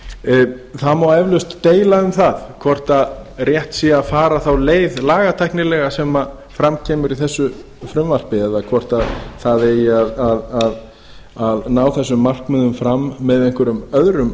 meingerða það má eflaust deila um það hvort sé rétt að fara þá leið lagatæknilega sem fram kemur í þessu frumvarpi eða hvort það eigi að ná þessum markmiðum fram með einhverjum öðrum